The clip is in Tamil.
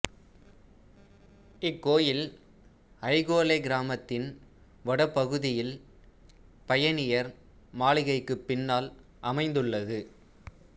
இக்கோயில் அய்கொளெ கிராமத்தின் வடக்குப்பகுதியில் பயணியர் மாளிகைக்குப் பின்னால் அமைந்துள்ளது